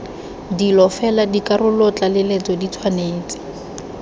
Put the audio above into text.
dilo fela dikarolotlaleletso di tshwanetse